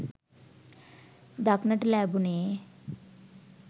දක්නට ලැබෙනුයේ